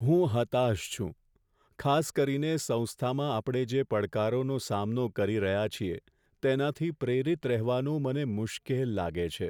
હું હતાશ છું, ખાસ કરીને સંસ્થામાં આપણે જે પડકારોનો સામનો કરી રહ્યા છીએ, તેનાથી પ્રેરિત રહેવાનું મને મુશ્કેલ લાગે છે.